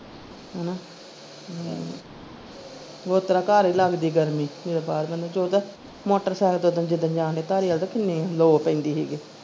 ਹਮ ਓਤਰਾਂ ਘਰ ਹੀ ਲਗਦੀ ਗਰਮੀ ਜਦੋਂ ਬਾਹਰ ਬੰਦਾ ਤੁਰਦਾ motorcycle ਤੇ ਓਦਾਂ ਜਿਦਣ ਜਾਣਦੇ ਧਾਰੀਵਾਲ ਤੇ ਕਿੰਨੀ ਲੋ ਪੈਂਦੀ ਸੀ।